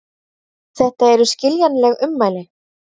Þetta eru skiljanleg ummæli